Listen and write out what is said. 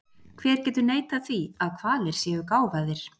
Hver getur neitað því að hvalir séu gáfaðir?